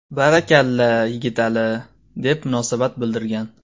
Barakalla, Yigitali”, deb munosabat bildirgan.